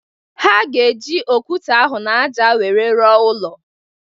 Ha ga-eji okwute ahụ n'aja wéré ruọ ụlọ